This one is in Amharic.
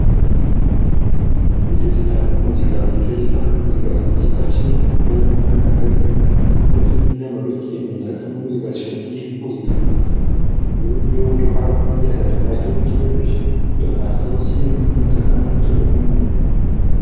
የትዝታ ሙዚቃ፤ የትዝታ ሙዚቃ ትዝታችንን ለማስታወስን ለመግለጽ የምንጠቀምበት የሙዚቃ ሲሆን ይህ ሙዚቃ ብዙ የወደፊት ያሳለፍናቸውን ጊዜያቶች ለማስታወት የምንጠቀመው።